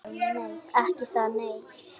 Ekki það nei?